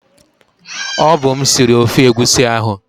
Ọ bụ m sịrị ofe egwusi ahu